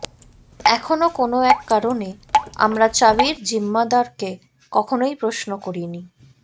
এখনো কোনো এক কারণে আমরা চাবির জিম্মাদারকে কখনোই প্রশ্ন করিনি